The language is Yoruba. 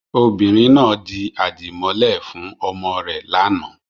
Obìnrin náà di àdìmọ́lẹ̀ fún ọmọ rẹ̀ lánàá.